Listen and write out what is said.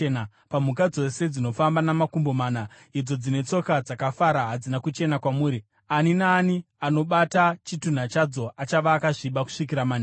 Pamhuka dzose dzinofamba namakumbo mana, idzo dzine tsoka dzakafara hadzina kuchena kwamuri; ani naani anobata chitunha chadzo achava akasviba kusvikira manheru.